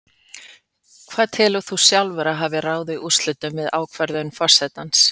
Hvað telur þú sjálfur að hafi ráðið úrslitum við ákvörðun forsetans?